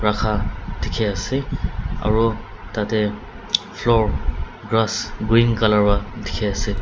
rakha dikhiase aro tatae floor grass green colour wa dikhiase.